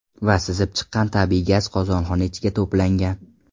Va sizib chiqqan tabiiy gaz qozonxona ichiga to‘plangan.